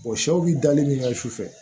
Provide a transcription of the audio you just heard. sɛw bi dali min ka su fɛ